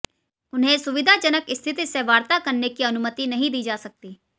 उन्हें सुविधाजनक स्थिति से वार्ता करने की अनुमति नहीं दी जा सकती